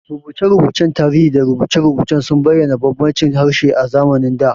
Rubuce-rubucen tarihi da rubuce-rubuce sun bayyana bambancin harshe a zamanin da.